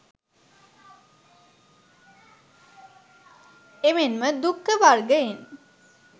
එමෙන්ම දුක්ඛ වර්ගයෙන්